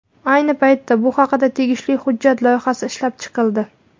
Ayni paytda bu haqda tegishli hujjat loyihasi ishlab chiqildi.